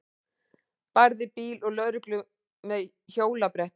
Barði bíl og lögreglu með hjólabretti